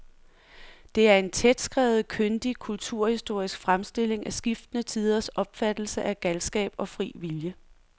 Det er en tætskrevet, kyndig kulturhistorisk fremstilling af skiftende tiders opfattelse af galskab og fri vilje.